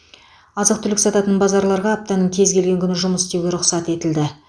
азық түлік сататын базарларға аптаның кез келген күні жұмыс істеуге рұқсат етілді